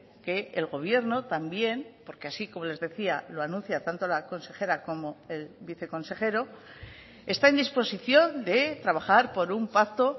que el gobierno también porque así como les decía lo anuncia tanto la consejera como el viceconsejero está en disposición de trabajar por un pacto